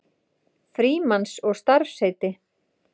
Frímanns og starfsheiti.